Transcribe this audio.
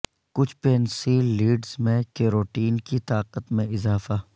کچھ pencil leads میں carotene کی طاقت میں اضافہ